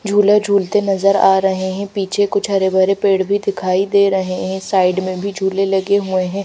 झूला झूलते नजर आ रहे हैं पीछे कुछ हरे भरे पेड़ भी दिखाई दे रहे हैं साइड में भी झूले लगे हुए हैं।